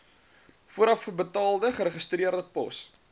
voorafbetaalde geregistreerde pos